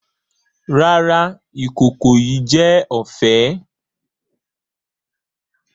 Rara, ikoko yii jẹ ọfẹ.